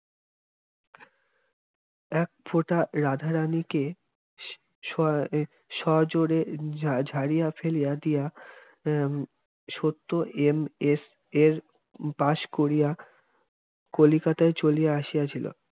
একফোঁটা রাধারানীকে সজো সজোরে ঝাড়িয়া ফেলিয়া দিয়া আহ সত্য এম. এ. এর পাশ করিয়া কলিকাতায় চলিয়া আসিয়াছিলো